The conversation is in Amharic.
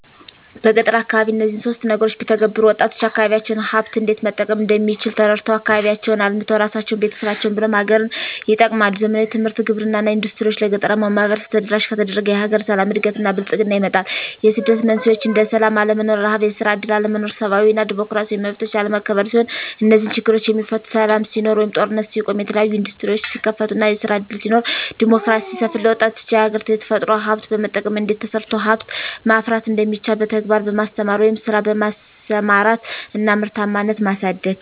በገጠር አካባቢ እነዚህን ሶስት ነገሮች ቢተገበሩ -ወጣቶች የአካባቢዎቻቸውን ሀብት እንዴት መጠቀም እንደሚችል ተረድተው አካባቢያቸውን አልምተው እራሳቸውን፤ ቤተሰቦቻቸውን ብሎም ሀገርን ይጠቅማሉ። ዘመናዊ ትምህርት፤ ግብርና እና ኢንዱስትሪዎች ለገጠራማው ማህበረሰብ ተደራሽ ከተደረገ የሀገር ሰላም፤ እድገት እና ብልፅግና ይመጣል። የስደት መንስኤዎች እንደ ስላም አለመኖር፤ ርሀብ፤ የስራ እድል አለመኖር፤ ሰብአዊ እና ዲሞክራሲያዊ መብቶች አለመከበር ሲሆኑ -እነዚህ ችግሮች የሚፈቱት ሰላም ሲኖር ወይም ጦርነት ሲቆም፤ የተለያዬ እንዱስትሪዎች ሲከፈቱ እና ስራ እድል ሲኖር፤ ዲሞክራሲ ሲሰፍን፤ ለወጣቱ የሀገራች የተፈጥሮ ሀብት በመጠቀም እንዴት ተሰርቶ ሀብት ማፍራት እንደሚቻል በተግባር በማስተማር ወደ ስራ በማሰማራት እና ምርታማነትን ማሳደግ።